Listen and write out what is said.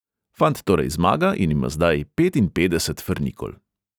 Fant torej zmaga in ima zdaj petinpetdeset frnikol.